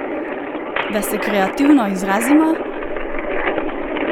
Da se kreativno izrazimo?